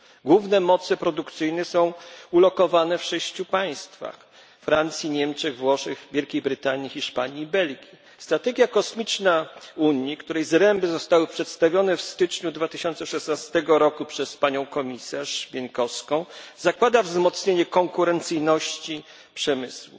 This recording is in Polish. Główne moce produkcyjne są ulokowane w sześciu państwach Francji, Niemczech, Włoszech, Wielkiej Brytanii, Hiszpanii i Belgii. Strategia kosmiczna Unii, której zręby zostały przedstawione w styczniu 2016 roku przez panią komisarz Pieńkowską, zakłada wzmocnienie konkurencyjności przemysłu.